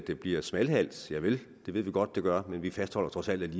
der bliver smalhals javel det ved vi godt der gør men vi fastholder trods alt